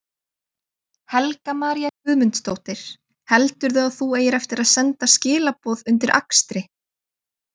Helga María Guðmundsdóttir: Heldurðu að þú eigir eftir að senda skilaboð undir akstri?